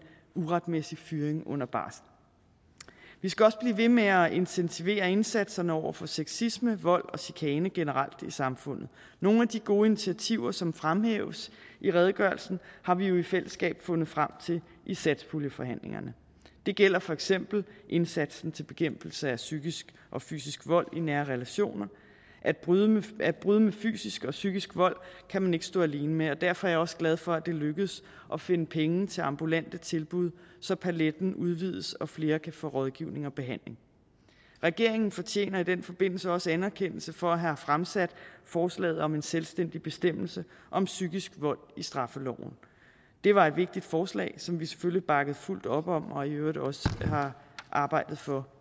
uretmæssig fyring under barsel vi skal også blive ved med at intensivere indsatserne over for sexisme vold og chikane generelt i samfundet nogle af de gode initiativer som fremhæves i redegørelsen har vi jo i fællesskab fundet frem til i satspuljeforhandlingerne det gælder for eksempel indsatsen til bekæmpelse af psykisk og fysisk vold i nære relationer at bryde at bryde med fysisk og psykisk vold kan man ikke stå alene med og derfor er jeg også glad for at det lykkedes at finde penge til ambulante tilbud så paletten udvides og flere kan få rådgivning og behandling regeringen fortjener i den forbindelse også anerkendelse for at have fremsat forslaget om en selvstændig bestemmelse om psykisk vold i straffeloven det var et vigtigt forslag som vi selvfølgelig bakkede fuldt op om og i øvrigt også har arbejdet for